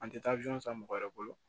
An tɛ taa san mɔgɔ wɛrɛ bolo